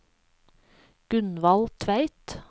Gunvald Tveit